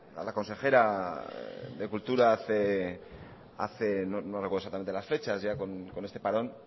a la consejera de cultura hace no recuerdo exactamente las fechas ya con este parón